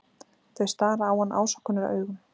Þau stara á hann ásökunaraugum.